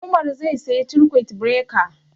Umar zai siya circuit breaker